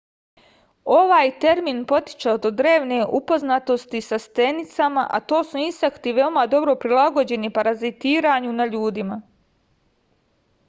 ovaj termin potiče od drevne upoznatosti sa stenicama a to su insekti veoma dobro prilagođeni parazitiranju na ljudima